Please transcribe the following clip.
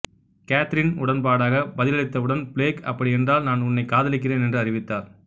Catherine உடன்பாடாக பதிலளித்தவுடன் Blake அப்படியென்றால் நான் உன்னைக் காதலிக்கிறேன் என்று அறிவித்தார்